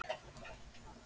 En ég verð líka að lifa.